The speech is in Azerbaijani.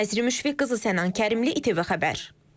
Nəzrin Müşfiq qızı, Sənan Kərimli, ATV Xəbər.